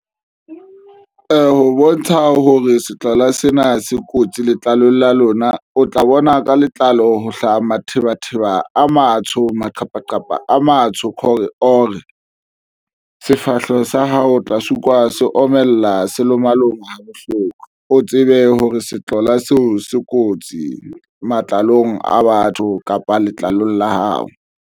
Ho bontsha hore setlola sena se kotsi letlalong la lona, o tla bona ka letlalo ho hlaha mathebatheba a matsho maqhepaqhepa a matsho or sefahleho sa hao tla se utlwa se omella se lo malome ha bohloko, o tsebe hore se tlola seo se kotsi matlalong a batho kapa letlalong la hao.